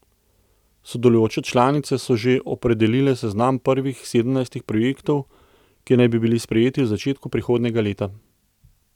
Sodelujoče članice so že opredelile seznam prvih sedemnajstih projektov, ki naj bi bili sprejeti v začetku prihodnjega leta.